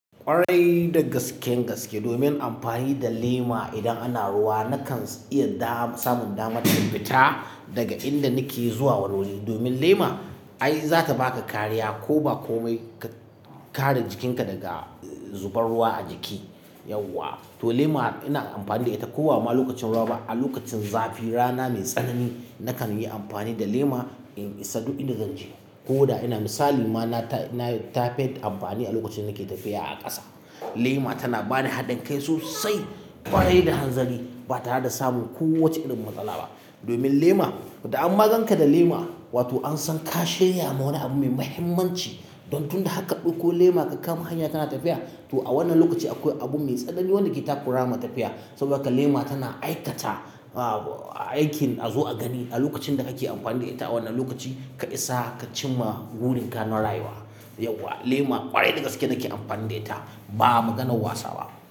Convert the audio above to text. Kwarai da gaske gaske domin amfani da lema idan ana ruwa nakan iya da samun damar in fita daga inda nake zuwa wani wuri. Domin lema ai za ta baka kariya ko ba komai ka kare jikinka daga zubar ruwa a jiki. Yauwa to lema ina amfani da ita ko ba ma lokacin ruwa ba a lokacin zafin rana mai tsanani nakan yi amfani da lema in isa duk inda zan je. Ko da ina misali ma na ta na ta fi amfani a lokacin nake tafiya a ƙasa. Lema tana bani haɗin kai sosai ƙwarai da hanzali ba tare da samun kowacce irin matsala ba. Domin lema idan an maganka da lema wato an san ka shirya ma wani abu mai muhimmanci don tunda ka ɗauko lema ka kama hanya kana tafiya to a wannan lokaci akwai abu mai tsanani wanda ke takura ma tafiya. Saboda haka lema tana aikata aikin a zo a gani a lokacin da kake amfani da ita. A wannan lokaci ka isa ka cimma burinka na rayuwa. Yauwa lema ƙwarai dagaske nake amfani da ita ba maganar wasa ba.